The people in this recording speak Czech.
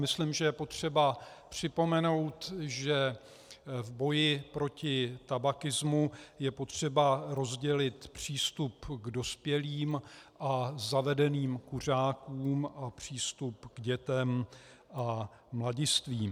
Myslím, že je potřeba připomenout, že v boji proti tabakismu je potřeba rozdělit přístup k dospělým a zavedeným kuřákům a přístup k dětem a mladistvým.